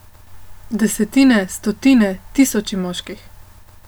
Desetine, stotine, tisoči moških.